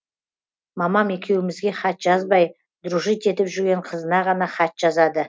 мамам екеуімізге хат жазбай дружить етіп жүрген қызына ғана хат жазады